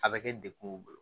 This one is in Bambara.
A bɛ kɛ dekun y'u bolo